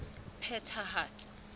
phethahatso